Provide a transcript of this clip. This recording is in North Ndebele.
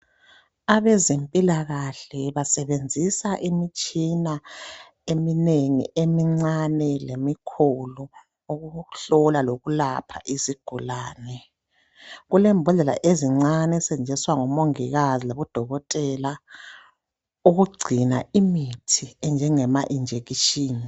Abezempilakahle basebenzisa imtshina eminengi emincane lemikhulu ukuhlola lokulapha izigulane .Kulembodlela ezincane ezisetshenziswa ngomongikazi labo dokotela ukugcina imithi enjengama injection .